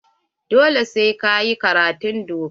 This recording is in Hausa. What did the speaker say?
Dole sai ka yi karatun doka.